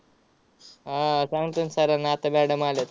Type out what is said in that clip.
हा आह सांगतो न sir ना आता आलेत.